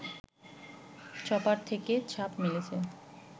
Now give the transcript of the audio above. chopper থেকে ঝাঁপ মেরেছি